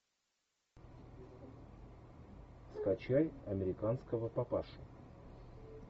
скачай американского папашу